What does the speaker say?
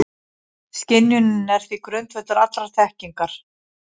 Skynjunin er því grundvöllur allrar þekkingar.